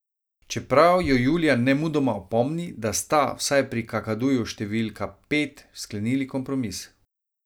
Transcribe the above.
Čeprav jo Julija nemudoma opomni, da sta, vsaj pri kakaduju številka pet, sklenili kompromis.